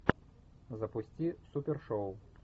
запусти супер шоу